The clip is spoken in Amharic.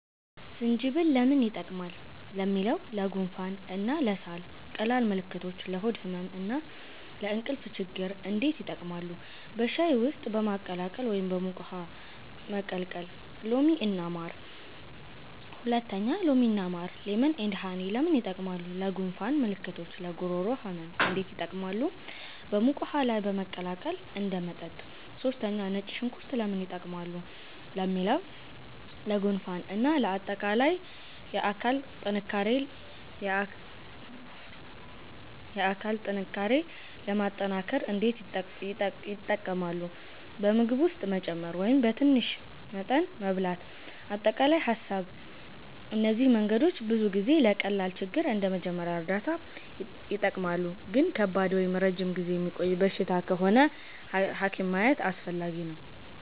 1) ዝንጅብል (Ginger) ለምን ይጠቀማሉ ለሚለው? ለጉንፋን እና ለሳል ቀላል ምልክቶች ለሆድ ህመም እና ለእንቅልፍ ችግኝ እንዴት ይጠቀማሉ? በሻይ ውስጥ በማቀላቀል ወይም በሙቅ ውሃ መቀቀል 2) ሎሚ እና ማር (Lemon & Honey) ለምን ይጠቀማሉ? ለጉንፋን ምልክቶች ለጉሮሮ ህመም እንዴት ይጠቀማሉ? በሙቅ ውሃ ላይ በማቀላቀል እንደ መጠጥ 3) ነጭ ሽንኩርት (Garlic) ለምን ይጠቀማሉ ለሚለው? ለጉንፋን እና ለአጠቃላይ የአካል ጥንካሬ ለማጠናከር እንዴት ይጠቀማሉ? በምግብ ውስጥ መጨመር ወይም በትንሽ መጠን መብላት አጠቃላይ ሀሳብ እነዚህ መንገዶች ብዙ ጊዜ ለቀላል ችግር እንደ መጀመሪያ እርዳታ ይጠቀማሉ ግን ከባድ ወይም ረጅም ጊዜ የሚቆይ በሽታ ከሆነ ሐኪም ማየት አስፈላጊ ነው